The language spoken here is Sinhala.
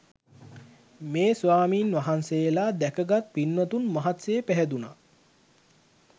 මේ ස්වාමීන් වහන්සේලා දැකගත් පින්වතුන් මහත් සේ පැහැදුනා